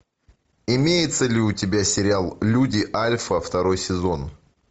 имеется ли у тебя сериал люди альфа второй сезон